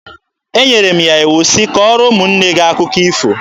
Enyere m ya iwu sị, "Kọọrọ ụmụnne gị akụkọ ifo!"